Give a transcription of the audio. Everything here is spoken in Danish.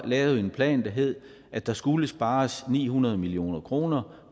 lavet en plan der hed at der skulle spares ni hundrede million kroner